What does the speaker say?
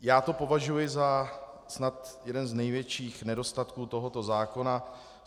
Já to považuji za snad jeden z největších nedostatků tohoto zákona.